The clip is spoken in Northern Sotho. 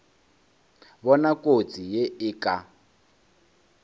bona kotsi ye e ka